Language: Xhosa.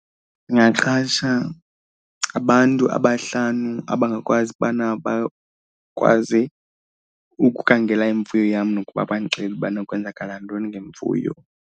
Ndingaqasha abantu abahlanu abangakwazi ubana bakwazi ukukhangela imfuyo yam nokuba bandixelele ubana kwenzakala ntoni ngemfuyo.